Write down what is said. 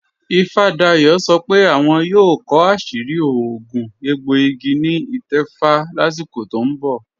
Ìfádàyọ̀ sọ́ pé àwọn yóò kọ àṣìrí òogún ègbòìgì ni ítẹ̀fà láṣíkò tó n bọ̀